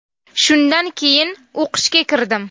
Shundan keyin o‘qishga kirdim.